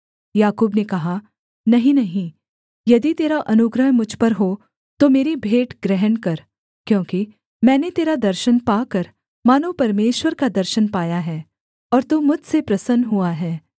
याकूब ने कहा नहीं नहीं यदि तेरा अनुग्रह मुझ पर हो तो मेरी भेंट ग्रहण कर क्योंकि मैंने तेरा दर्शन पाकर मानो परमेश्वर का दर्शन पाया है और तू मुझसे प्रसन्न हुआ है